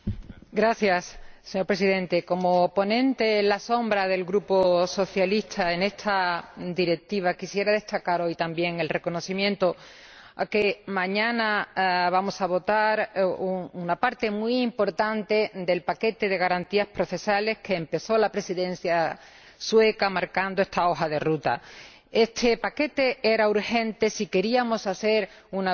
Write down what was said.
Señor Presidente, como ponente alternativa del Grupo socialista para esta Directiva, quisiera destacar, hoy también, que mañana vamos a votar una parte muy importante del paquete de garantías procesales que empezó la Presidencia sueca marcando esta hoja de ruta. Este paquete era urgente si queríamos hacer una Europa de Derecho.